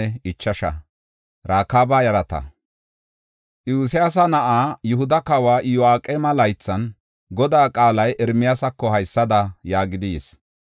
Iyosyaasa na7aa Yihuda kawa Iyo7aqeema laythan, Godaa qaalay Ermiyaasako haysada yaagidi yis.